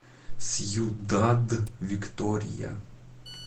сьюдад виктория